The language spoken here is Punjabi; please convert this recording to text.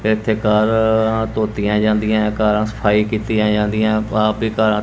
ਇੱਥੇ ਕਾਰਾਂ ਧੋਤੀਆਂ ਜਾਂਦੀਆਂ ਏ ਕਾਰਾਂ ਸਫਾਈ ਕੀਤੀਆਂ ਜਾਂਦੀਆਂ ਆਪ ਹੀ ਕਾਰਾਂ --